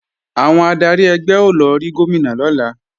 Àwọn adarí ẹgbẹ́ ó lọ rí Gómìnà lọ́la